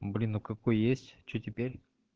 блин ну какой есть что теперь